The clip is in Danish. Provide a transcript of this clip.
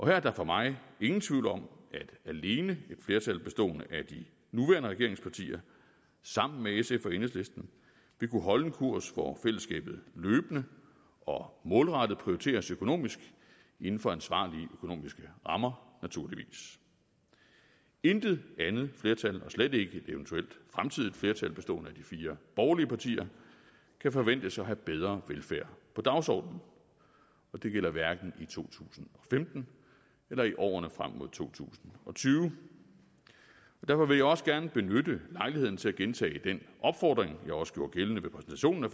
her er der for mig ingen tvivl om at alene et flertal bestående af de nuværende regeringspartier sammen med sf og enhedslisten vil kunne holde en kurs hvor fællesskabet løbende og målrettet prioriteres økonomisk inden for ansvarlige økonomiske rammer naturligvis intet andet flertal og slet ikke et eventuelt fremtidigt flertal bestående af de fire borgerlige partier kan forventes at have bedre velfærd på dagsordenen og det gælder hverken i to tusind og femten eller i årene frem mod to tusind og tyve derfor vil jeg også gerne benytte lejligheden til at gentage den opfordring jeg også gjorde gældende ved præsentationen af